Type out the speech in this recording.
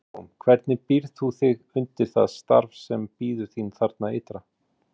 Bryndís Hólm: Hvernig býrð þú þig undir það starf sem bíður þín þarna ytra?